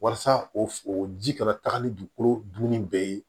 Walasa o ji kana taga ni dugukolo dunni bɛɛ ye